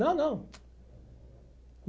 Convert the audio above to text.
Não, não.